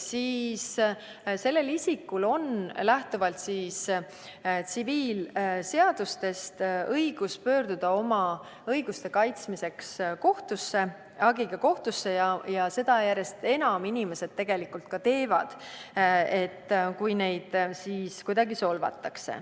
siis kannatanul on lähtuvalt tsiviilseadustest õigus pöörduda oma õiguste kaitsmiseks hagiga kohtusse, ja seda inimesed järjest enam ka teevad, kui neid kuidagi solvatakse.